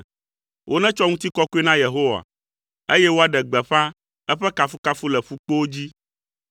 Wonetsɔ ŋutikɔkɔe na Yehowa, eye woaɖe gbeƒã eƒe kafukafu le ƒukpowo dzi.